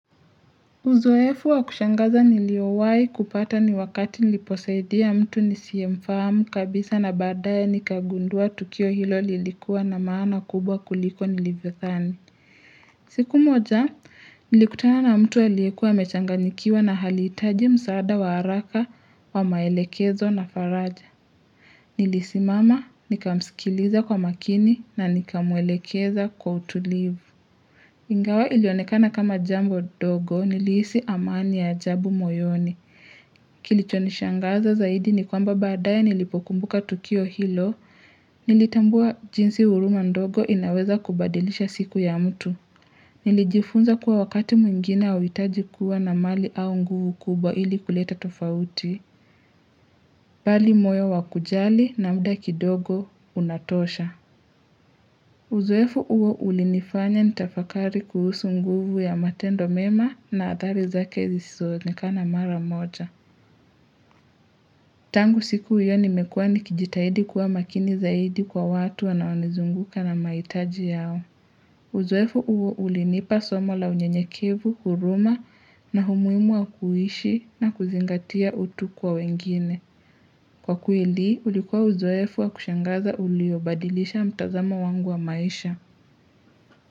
Uzoefu wa kushangaza niliowahi kupata ni wakati niliposaidia mtu nisiye mfahamu kabisa na baade nikagundua tukio hilo lilikuwa na maana kubwa kuliko nilivyo dhani. Siku moja, nilikutana na mtu aliyekuwa amechanganikiwa na alihitaji msaada wa haraka wa maelekezo na faraja. Nilisimama, nikamsikiliza kwa makini na nikamwelekeza kwa utulivu. Ingawa ilionekana kama jambo ndogo nilihisi amani ya ajabu moyoni kilichonishangaza zaidi ni kwamba baadae nilipokumbuka tukio hilo nilitambua jinsi huruma ndogo inaweza kubadilisha siku ya mtu nilijifunza kuwa wakati mwingine hauhitaji kuwa na mali au nguvu kubwa ili kuleta tofauti bali moyo wa kujali na mda kidogo unatosha Uzoefu uo ulinifanya nitafakari kuhusu nguvu ya matendo mema na athari zake zisizoonekana mara moja. Tangu siku hiyo nimekuwa nikijitahidi kuwa makini zaidi kwa watu wanaonizunguka na mahitaji yao. Uzoefu huo ulinipa somo la unyenyekevu, huruma na umuhimu wa kuhishi na kuzingatia utu kwa wengine. Kwa kweli, ulikuwa uzoefu wa kushangaza uliobadilisha mtazama wangu wa maisha.